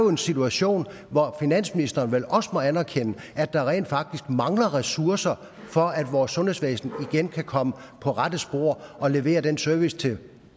en situation hvor finansministeren vel også må anerkende at der rent faktisk mangler ressourcer for at vores sundhedsvæsen igen kan komme på rette spor og levere den service til